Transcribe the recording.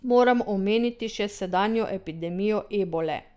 Moram omeniti še sedanjo epidemijo ebole.